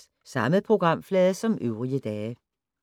Samme programflade som øvrige dage